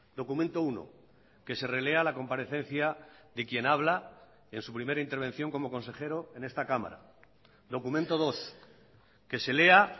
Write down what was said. documento uno que se relea la comparecencia de quien habla en su primera intervención como consejero en esta cámara documento dos que se lea